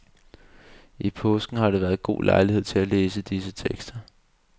I påsken har der været god lejlighed til at læse disse tekster.